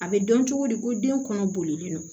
A bɛ dɔn cogo di ko den kɔnɔ bolilen don